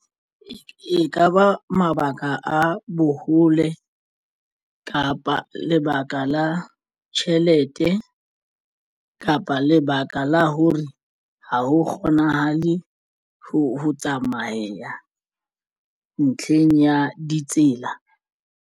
Ekaba mabaka a bohole kapa lebaka la tjhelete kapa lebaka la hore ha ho kgonahale ho tsamayeha ntlheng ya ditsela.